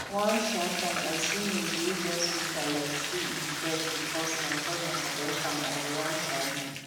one um time i see maize wey just wither like say e vex because my cousin harvest am on wrong um day